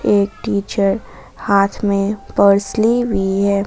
एक टीचर हाथ में पर्स ली हुई है।